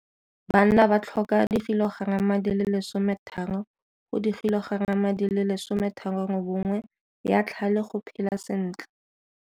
Banna ba tlhoka 30 g go 38 g ya tlhale go phela sentle.